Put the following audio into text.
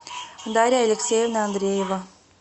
дарья алексеевна андреева